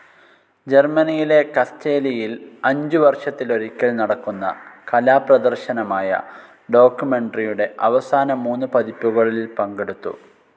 ജർമ്മനിയിലെ കസ്സേലിയിൽ അഞ്ചു വർഷത്തിലൊരിക്കൽ നടക്കുന്ന കലാപ്രദർശനമായ ഡോക്യുമെൻ്ററിയുടെ അവസാന മൂന്നു പതിപ്പുകളിൽ പങ്കെടുത്തു.